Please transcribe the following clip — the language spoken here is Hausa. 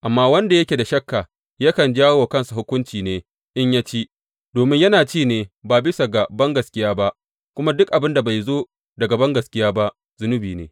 Amma wanda yake da shakka yakan jawo wa kansa hukunci ne in ya ci, domin yana ci ne ba bisa ga bangaskiya ba; kuma duk abin da bai zo daga bangaskiya ba zunubi ne.